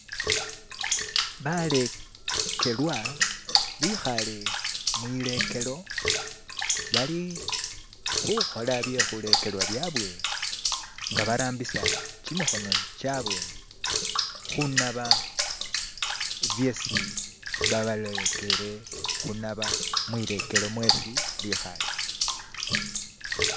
balekelwa bihale mwilekelo bali huhola byehulekelwa byabwe nga barambisa chimihono chabwe hunaba byesi babarekele hunaba mwilekelo mwesi bihale